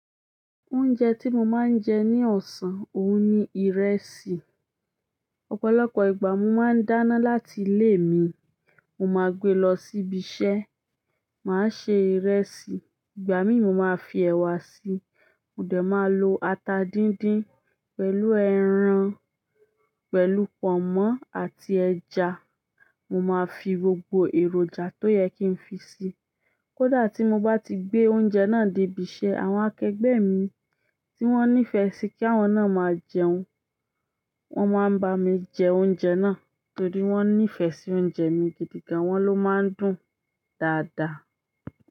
Oúnjẹ tí mo máa ń jẹ ní ọ̀sán òun ni ìrẹsì. Ọ̀pọ̀lọpọ̀ ìgbà mo máa ń dáná láti ilé mi, mo máa gbe lọ sí ibi iṣẹ́, màá ṣe ìrẹsì. Ìgbà míì mo máa fi ẹ̀wà si, mo dẹ̀ máa lo ata díndín pẹ̀lú ẹran, pẹ̀lú pọ̀nmọ́ àti ẹja. Mo máa fi gbogbo èròjà tó yẹ kí n fi si. Kódà tí mo bá ti gbé oúnjẹ náà dé ibi iṣẹ́, àwọn akẹgbẹ́ mi tí wọ́n nífẹ̀ẹ́ sí kí àwọn náà máa jẹun, wọ́n máa ń bá mi jẹ oúnjẹ náà nítorí wọ́n nífẹ̀ẹ́ sí oúnjẹ mi gidi gan, wọ́n ló máa ń dùn dáadáa.